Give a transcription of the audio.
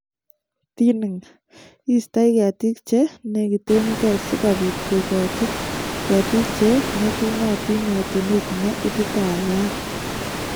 Thinning: iistoe keetiik che neegitengei si kobiit kogoochi keetiik che ng'etunotiin yetunet ne ititaatat.